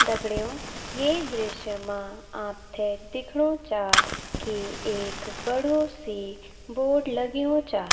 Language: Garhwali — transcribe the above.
दगडियों ये दृश्य मा आप थे दिख्णु चा की एक बडू सी बोर्ड लग्युं चा।